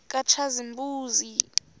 katshazimpuzi